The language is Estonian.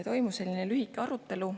Toimus lühike arutelu.